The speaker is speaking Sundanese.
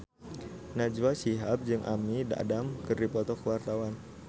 Najwa Shihab jeung Amy Adams keur dipoto ku wartawan